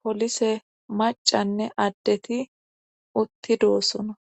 polise macanne addeti utti doosona